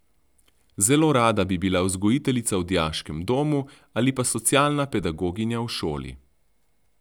Zelo rada bi bila vzgojiteljica v dijaškem domu ali pa socialna pedagoginja v šoli.